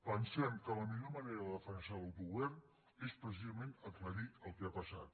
pensem que la millor manera de defensar l’autogovern és precisament aclarir el que ha passat